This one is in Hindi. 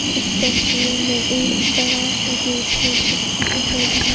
इस तस्वीर में एक बड़ा सा गेट है। जिसके ऊपर बहुत --